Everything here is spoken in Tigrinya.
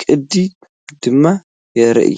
ቅዲ ድማ የርኢ።